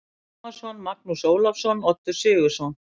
Tómasson, Magnús Ólafsson, Oddur Sigurðsson